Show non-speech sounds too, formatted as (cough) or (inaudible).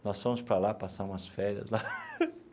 Nós fomos para lá passar umas férias lá. (laughs)